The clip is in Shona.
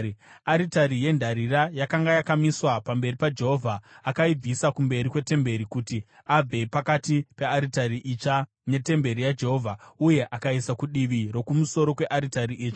Aritari yendarira yakanga yakamiswa pamberi paJehovha, akaibvisa kumberi kwetemberi kuti abve pakati pearitari itsva netemberi yaJehovha, uye akaiisa kudivi rokumusoro kwearitari itsva.